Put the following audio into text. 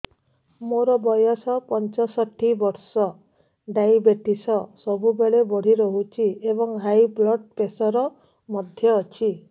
ମୋର ବୟସ ପଞ୍ଚଷଠି ବର୍ଷ ଡାଏବେଟିସ ସବୁବେଳେ ବଢି ରହୁଛି ଏବଂ ହାଇ ବ୍ଲଡ଼ ପ୍ରେସର ମଧ୍ୟ ଅଛି